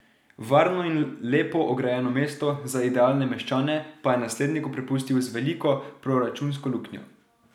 Varno in lepo ograjeno mesto za idealne meščane pa je nasledniku prepustil z veliko proračunsko luknjo.